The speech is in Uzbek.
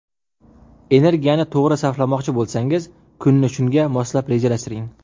Energiyani to‘g‘ri sarflamoqchi bo‘lsangiz, kunni shunga moslab rejalashtiring.